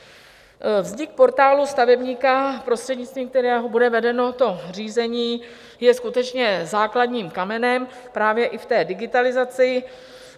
Vznik Portálu stavebníka, prostřednictvím kterého bude vedeno to řízení, je skutečně základním kamenem právě i v té digitalizaci.